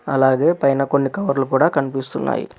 అలాగే పైన కొన్ని కవర్లు కూడ కనిపిస్తున్నాయి.